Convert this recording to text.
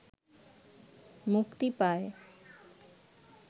মুক্তি পায়